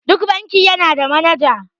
Duk banki yana da manaja.